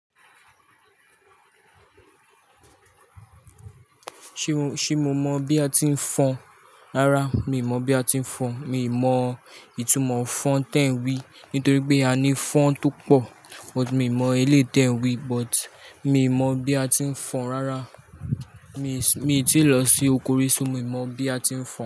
Ṣé mo, ṣe mo mọ bi a ti ń fọn? Rárá mi mọ bi a ti ń fọn. Mi mọ ìtumọ̀ fọn tẹ́ ń wí. Nítorí pé a ní fọn tó pọ̀, but mi mọ eléyi ẹ̀ ń wí, but mi mọ bi a ti ń fọn rárá. Mi, mi ò tí ì lọ sí oko rí, ṣo mi mọ bi a ti ń fọn.